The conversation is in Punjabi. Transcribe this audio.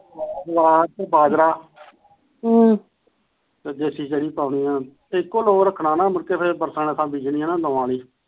ਬਾਂਸ ਬਾਜਰਾ ਹਮ ਦੇਸੀ ਚਰੀ ਪਾਉੰਦੇ ਆ ਇੱਕੋ ਲੋ ਰੱਖਣਾ ਬਰਸਾਂਤਾ ਨੂੰ ਰੱਖਣਾ ਨਾ